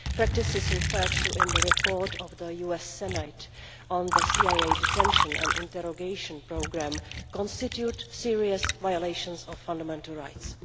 The practices referred to in the report of the US Senate on the CIA detention and interrogation programme constitute serious violations of fundamental rights.